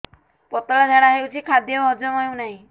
ପତଳା ଝାଡା ହେଉଛି ଖାଦ୍ୟ ହଜମ ହେଉନାହିଁ